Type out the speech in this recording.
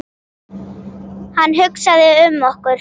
Hann hugsaði um okkur.